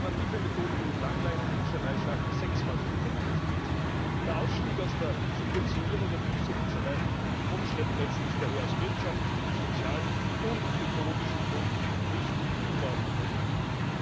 Alternative Methoden wie die Langleinenfischerei schaffen sechs Mal so viele Arbeitsplätze. Der Ausstieg aus der Subventionierung der Tiefseefischerei mit Grundschleppnetzen ist daher aus wirtschaftlichen, sozialen und ökologischen Gründen richtig und auch notwendig.